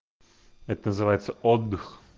это называется отдых